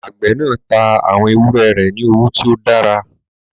Àgbẹ̀ náà tá àwọn ewúrẹ́ rẹ̀ ní owó tí ó dára.